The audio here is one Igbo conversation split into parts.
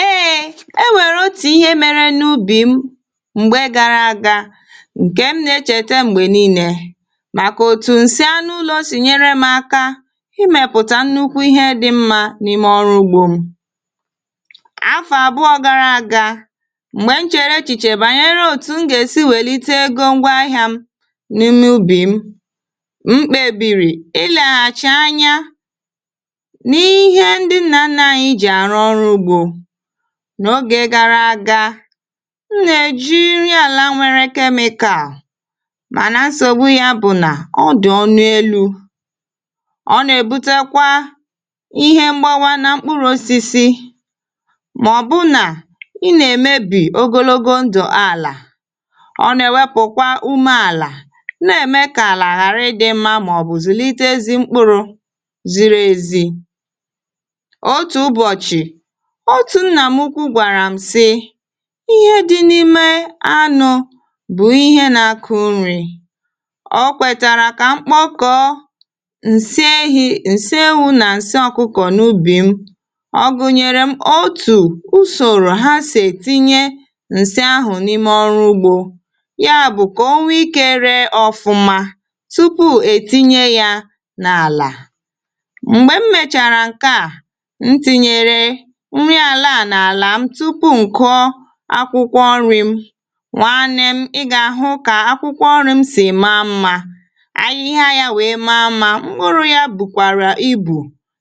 Eėė, e nwèrè otì ihe mere n’ubì m̀gbè gara aga ǹkè m nà-echète m̀gbè nille màkà òtù nsị anụ ulọ sì nyere m aka imėpụtà nnukwu ihe dị̇ mmȧ n’ime ọrụ ugbȯ m. Afọ àbụọ gara aga m̀gbè m chere echìchè bànyere òtù m gà-èsi wèlite ego ngwaahịa m n’ime ubì m, m kpebìrì ịleghàchi anya nihe ndị nna nna anyị ji arụ ọrụ ugbo n’ogè gara aga. M nà-èji nri àla nwere kemikàl mà nà nsògbu yȧ bụ̀ nà ọ dị̀ ọnụ elu̇. Ọ nà-èbutekwa ihe mgbawȧ nȧ mkpụrụ̇ osisi̇ màọ̀bụ̀ nà ị nà-èmebì ogologo ndụ̀ àlà. Ọ nà-èwepụkwa ume àlà nà-ème kà àlà ghàrị ịdị mma màọ̀bụ̀ zụlite ezi mkpụrụ̇ ziri ezi̇. Otù ụbọchị, otu nnà m ukwu gwàrà m sị ihe dị n’ime anụ̇ bụ̀ ihe nȧ akụ nri̇. O kwètàrà kà mkpokọọ ǹsị ehi̇, ǹsị ewu nà ǹsị ọkụkọ̀ n’ubì m. Ọ gụ̀nyèrè m otù usòrò ha sì ètinye ǹsị ahụ̀ n’ime ọrụ ugbȯ nya bụ̀ kà o nwe ikė ree ọfụma tupu ètinye ya n’àlà. M̀gbè m mèchàrà ǹke a, m tìnyere nri ala a n'ala m tupu m kụọ akwụkwọ nri m. Nwanne m, ị ga-ahụ ka akwụkwọ nri m si wee maa mma, ahịhịa ya wee maa mma, aka ya bukwara ezigbo ibu,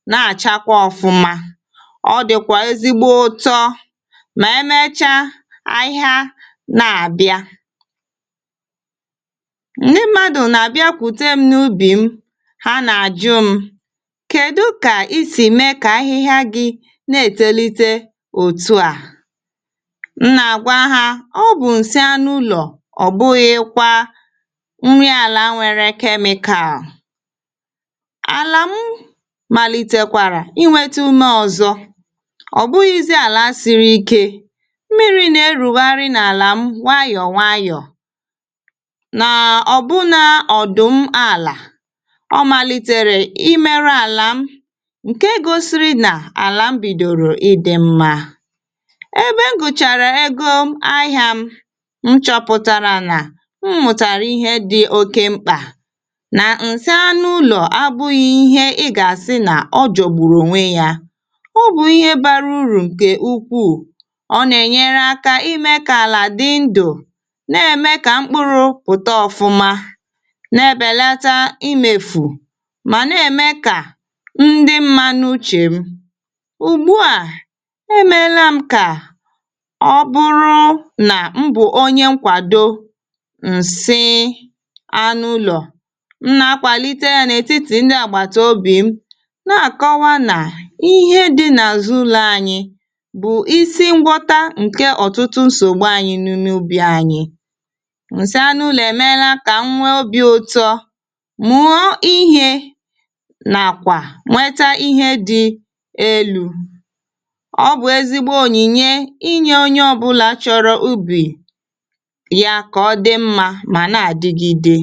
na-achakwa ọfụma, ọ dịkwa ezigbo ụtọ ma emechaa, ahịa nabịa. Ndị m̀madù nà-àbịakwute m n’ubi m ha nà-àjụ m kèdụ kà isì mee kà ahịhịa gị na-etolite otu a. M nà-àgwa ha ọ bụ̀ ǹsị anụ ụlọ̀, ọ̀ bụghịkwa nri àlà nwere kemikal. Alà m màlitekwàrà inwėtė ume ọ̀zọ, ọ̀bụghịzị àlà siri ikė, mmiri nà-erùghàrị nà àlà m wayọ̀ wayọ̀. Nà ọ̀ bụ̀ nà ọ̀dụ̀ m àlà, ọ màlitèrè imere àlà m ǹke gosiri nà àlà m bìdòrò ịdị̇ mma. Ebe m gụchàrà egȯ ahɪ̇ȧ m, m chọpụ̀tàrà nà m mụ̀tàrà ihe dị̇ oke mkpà, nà ǹsaanụ ụlọ̀ abụghị ihe ị gà-àsị nà ọ jọ̀gbùrù ònwe yȧ ọ bụ̀ ihe bara urù ǹkè ukwuù, ọ nà-ènyere akȧ imė kà àlà dị ndụ̀ na-ème kà mkpụrụ̇ pụ̀ta ọfụma, na-ebèlata imèfù mà na-ème kà ndị mma n’uchè m. Ugbu a, emela m ka ọ bụrụ nà m bù onye nkwàdo ǹsị anụ ụlọ̀. M nà-akwàlite yȧ n’ètitì ndị àgbàtà obì m na-àkọwa nà ihe dị n’àzụ ụlọ̇ anyiị bụ isi ngwọta ǹke ọ̀tụtụ nsògbu anyị nùnù ubì anyị. Nsị anụ ụlọ̀ èmela kà nwe obi̇ ụtọ, mụọ ihė nàkwà nweta ihe dị elu̇. Ọ bụ ezigbo onyinye inye onye ọbụlà chọrọ ubì ya ka ọ̀ dị mmȧ mà nà-àdịgide.